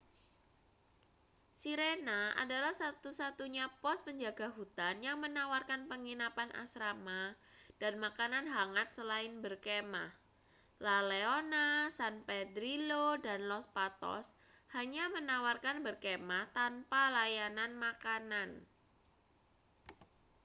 sirena adalah satu-satunya pos penjaga hutan yang menawarkan penginapan asrama dan makanan hangat selain berkemah la leona san pedrillo dan los patos hanya menawarkan berkemah tanpa layanan makanan